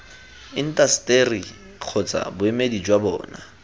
intaseteri kgotsa boemedi jwa bona